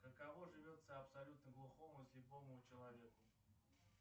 каково живется абсолютно глухому слепому человеку